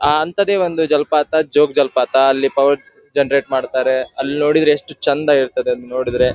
ಅಅ ಅಂತದೇ ಒಂದು ಜಲ್ಪಿತ ಜೋಗ್ ಜಲ್ಪಿತ ಅಲ್ಲಿ ಪವರ್ ಜನರೇಟ್ ಮಾಡ್ತಾರೆ ಅಲ್ ನೊಡಿದ್ರೆ ಎಸ್ಟ್ ಚಂದಾ ಇರ್ತದೆ ಅದ್ ನೋಡಿದ್ರೆ.